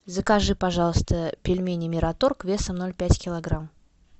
закажи пожалуйста пельмени мираторг весом ноль пять килограмм